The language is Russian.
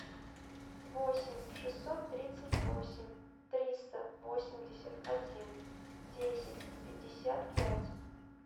восемь шестьсот тридцать восемь триста восемьдесят один десять пятьдесят пять